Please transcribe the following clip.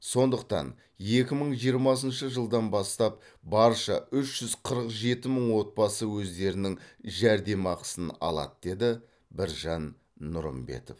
сондықтан екі мың жиырмасыншы жылдан бастап барша үш жүз қырық жеті мың отбасы өздерінің жәрдемақысын алады деді біржан нұрымбетов